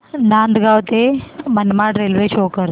नांदगाव ते Manmad railway show करा